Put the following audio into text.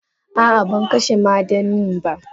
Ah ah bankashe ma dannin ba.